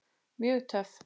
Mjög töff.